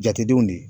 Jatedenw de